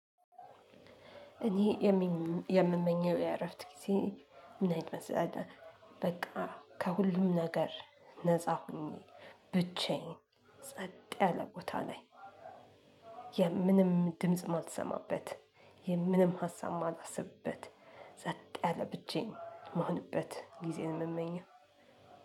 እኔ የምመኘው የእረፍት ጊዜ ምን አይነት መሰላችሁ? በቃ ከሁሉም ነገር ነፃ ሁኜ ብቻዬን ጸጥ ያለ ቦታ ላይ የምንም ድምጽ ማልሰማበት የምንም ሀሳብ ማላስብበት ጸጥ ያለ ብቻየን ምሆንበት ጊዜ ነው። የምመኘው።